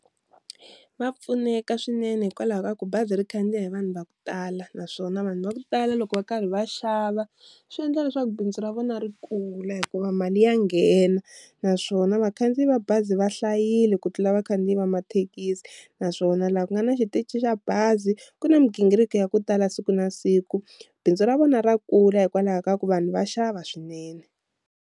Va pfuneka swinene hikwalaho ka ku bazi ri khandziya hi vanhu va ku tala naswona vanhu va ku tala loko va karhi va xava swi endla leswaku bindzu ra vona ri kula hikuva mali ya nghena naswona va khandzi yi va bazi va hlayile ku tlula vakhandziyi va mathekisi, naswona laha ku nga na xitichi xa bazi ku na migingiriko ya ku tala siku na siku, bindzu ra vona ra kula hikwalaho ka ku vanhu va xava swinene.